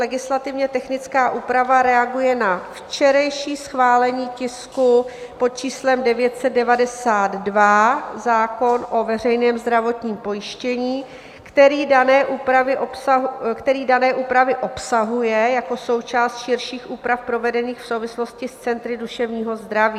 Legislativně technická úprava reaguje na včerejší schválení tisku pod číslem 992, zákon o veřejném zdravotním pojištění, který dané úpravy obsahuje jako součást širších úprav provedených v souvislosti s centry duševního zdraví.